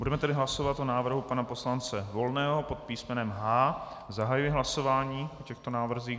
Budeme tedy hlasovat o návrhu pana poslance Volného pod písmenem H. Zahajuji hlasování o těchto návrzích.